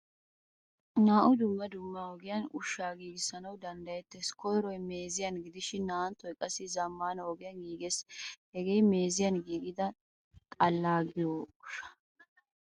Naa'u dumma dumma ogiyan ushsha giigisanawu danddayetees. Koyrooy meeziyan gidishin naa'anttoy qassi zamaana ogiyan giigees. Hagee meeziyan giigida xalla yaagiyo ushshaa.